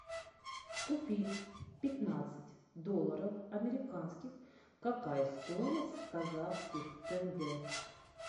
купить пятнадцать долларов американских какая стоимость в казахских тенге